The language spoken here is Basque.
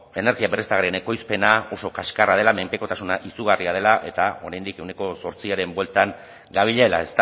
energia berriztagarrien ekoizpena oso kaskarra dela menpekotasuna izugarria dela eta oraindik ehuneko zortziaren bueltan gabilela